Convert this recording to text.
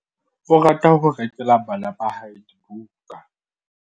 O rata ho rekela bana ba hae dibuka.